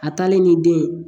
A taalen ni den ye